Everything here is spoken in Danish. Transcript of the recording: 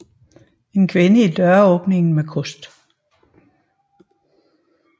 En kvinde i døråbning med kost